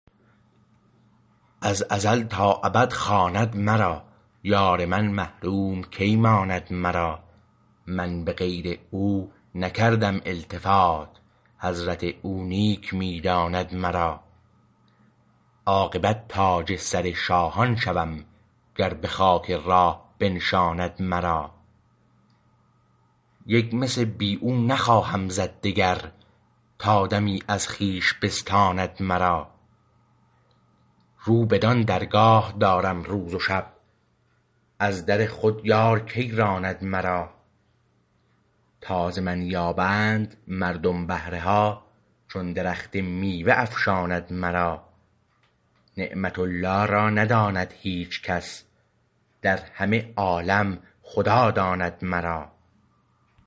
از ازل تا ابد خواند مرا یار من محروم کی ماند مرا من به غیر او نکردم التفات حضرت او نیک می داند مرا عاقبت تاج سر شاهان شوم گر به خاک راه بنشاند مرا یک مس بی او نخواهم زد دگر تا دمی از خویش بستاند مرا رو بدان درگاه دارم روز و شب از در خود یار کی راند مرا تا ز من یابند مردم بهره ها چون درخت میوه افشاند مرا نعمت الله را نداند هیچ کس در همه عالم خدا داند مرا